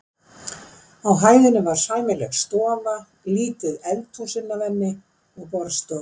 Á hæðinni var sæmileg stofa, lítið eldhús inn af henni og borðstofa.